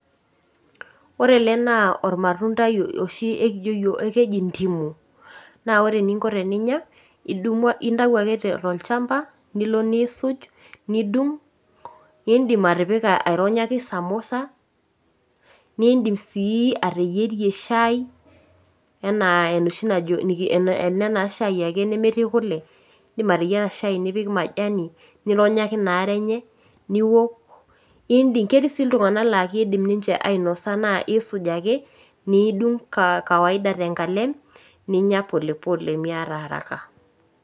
Orele naa olmatundai oshi ekijo yiok, ekeji ndimu. Naa ore eninko teninya idumu intau ake tolchamba nilo niisuj nidung' nindim atipika aironyaki samosa nindim sii ateyierie  shai enaa enoshi najo ena naa shai ake nemetii kule indim ateyiera shai nipik majani nironyaki inaare enye niwok. Ketii sii iltung'ana laa keidim ninche ainosa naa eisuj ake niidung' kawaida tenkalem ninya polepole miata araka.